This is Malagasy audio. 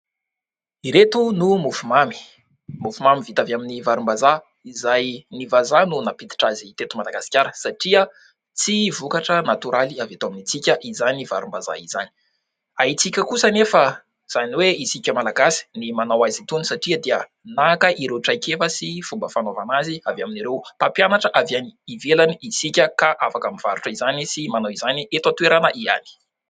Ireto no mofomamy. Mofo mamy vita avy amin'ny varimbazaha, izay ny vazaha no nampiditra azy teto Madagasikara satria tsy vokatra natoraly avy eto amintsika izany varimbazaha izany ; haintsika kosa anefa izany hoe isika Malagasy ny manao azy itony satria dia naka ireo traikefa sy fomba fanaovana azy avy amin'ireo mpampianatra avy any ivelany isika ka afaka mivarotra izany sy manao izany eto an-toerana ihany.